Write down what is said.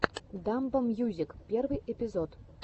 дамбо мьюзик первый эпизод